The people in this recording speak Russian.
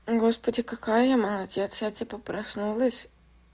господи какая я молодец я типа проснулась